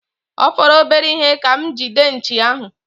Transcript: Ọ fọrọ obere ihe ka m gide nchi ahụ.